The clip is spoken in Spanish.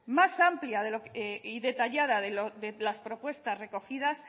más amplia y detallada de las propuestas recogidas